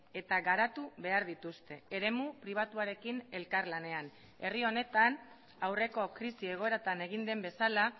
eta garatu behar dituzte eremu pribatuarekin elkarlanean herri honetan aurreko krisi egoeratan egin den bezala